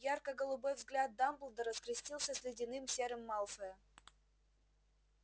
ярко-голубой взгляд дамблдора скрестился с ледяным серым малфоя